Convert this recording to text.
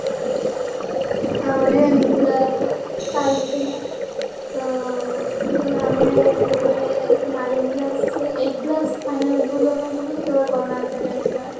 ତାପରେ ବି ଏମିତି ଚାଲିଥିଲା ତ ଆମେ ଯେତେବେଳେ nine class eight class final exam ଦବାପାଇଁ ଗଲୁ ସେତେବେଳେ corona ଚାଲି ଆସିଲା